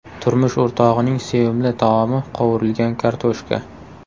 Turmush o‘rtog‘ining sevimli taomi qovurilgan kartoshka.